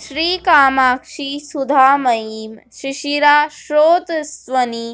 श्रीकामाक्षि सुधामयीव शिशिरा स्रोतस्विनी